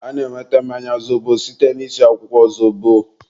a na-enweta mmanya zobo site na-isi akwụkwọ zobo.